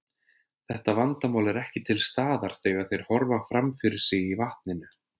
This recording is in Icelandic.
Þetta vandamál er ekki til staðar þegar þeir horfa fram fyrir sig í vatninu.